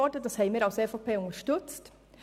Als EVP haben wir dies unterstützt.